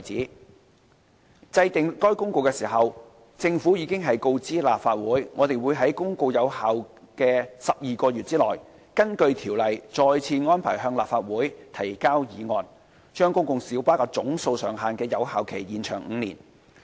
在制定該《公告》時，政府已告知立法會，我們會在《公告》有效的12個月內，根據《條例》再次安排向立法會提交議案，將公共小巴總數上限的有效期延長5年。